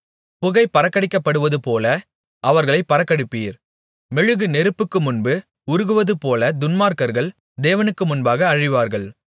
புகை பறக்கடிக்கப்படுவதுபோல அவர்களைப் பறக்கடிப்பீர் மெழுகு நெருப்புக்கு முன்பு உருகுவதுபோல துன்மார்க்கர்கள் தேவனுக்குமுன்பாக அழிவார்கள்